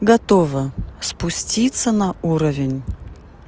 готова спуститься на уровень